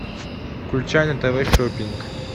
включай на тв шопинг